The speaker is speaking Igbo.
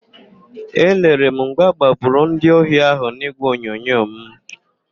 Elere m mgbe agbagburu ndị ohi ahụ n'ígwèonyonyo m.